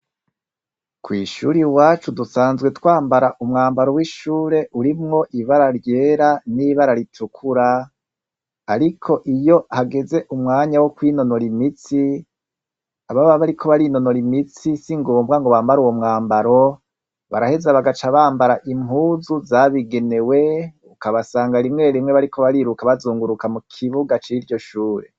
Kwishure iwacu dusanzwe twambara umwambaro w’ishure urimwo ibara ryera n’ibara ritukura, ariko iyo hageze umwanya wo kwinonora imitsi ababa bariko barinonora imitsi singombwa ngo bambare uwo mwambaro baraheza bagaca bambara impuzu zabigenewe ukabasanga rimwe rimwe bariko bariruka bazunguruka mu kibuga ciryo shure.